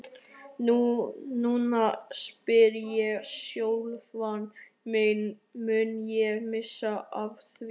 Núna spyr ég sjálfan mig, mun ég missa af því?